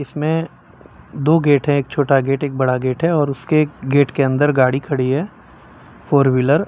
में दो गेट है एक छोटा गेट एक बड़ा गेट है और उसके गेट के अंदर गाड़ी खड़ी है फोर व्हीलर --